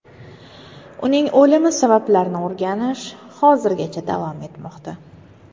Uning o‘limi sabablarini o‘rganish hozirgacha davom etmoqda.